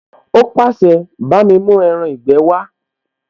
Ó pàṣẹ, bámi mú ẹran ìgbé wá!